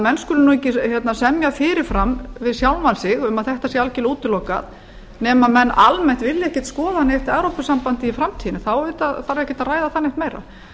menn skulu því ekki semja fyrirfram við sjálfa sig um að þetta sé algjörlega útilokað nema að menn almennt vilji ekki skoða neitt evrópusamband í framtíðinni þá auðvitað þarf ekkert að ræða það neitt meira